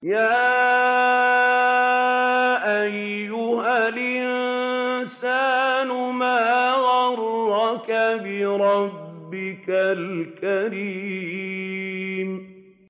يَا أَيُّهَا الْإِنسَانُ مَا غَرَّكَ بِرَبِّكَ الْكَرِيمِ